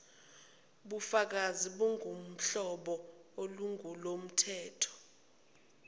bukafakazi bungobohlobo olungolomthetho